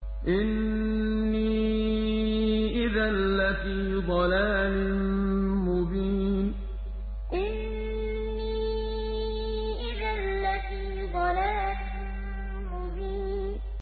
إِنِّي إِذًا لَّفِي ضَلَالٍ مُّبِينٍ إِنِّي إِذًا لَّفِي ضَلَالٍ مُّبِينٍ